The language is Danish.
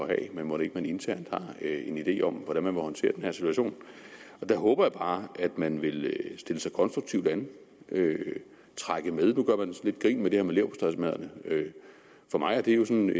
have men mon ikke man internt har en idé om hvordan man vil håndtere den her situation der håber jeg bare at man vil stille sig konstruktivt an trække med nu gør man lidt grin med det her med leverpostejmadderne for mig er det jo sådan